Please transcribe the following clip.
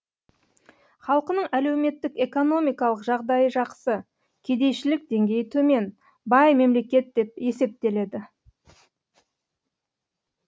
халқының әлеуметтік экономикалық жағдайы жақсы кедейшілік деңгейі төмен бай мемлекет деп есептеледі